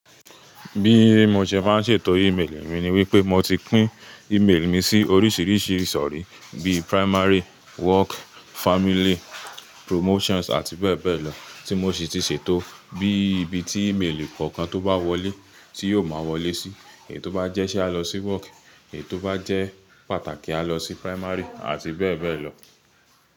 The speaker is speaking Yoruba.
Bí mo ṣe máa ń ṣètò email mi ni wípé mo ti pín email mi sí oríṣiríṣi ìsòrí bí primary, work, family, promotions àti bẹ́ẹ̀ bẹ́ẹ̀ lọ tí mo sì ti ṣètò bí ibi tí email kọ̀ọ̀kan tó bá wọlé tí yóò máa wọlé sí. Èyí tó bá jẹ́ ṣé a lọ sí work, èyí tó bá jẹ́ pàtàkì a lọ sí primary àti bẹ́ẹ̀ bẹ́ẹ̀ lọ.